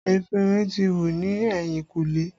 Efinrin ti wù ni ehinkule